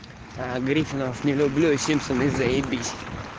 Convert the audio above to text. аа гриффинов не люблю а симпсоны заебись